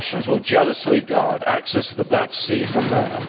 The Russians will jealously guard access to the Black Sea from there.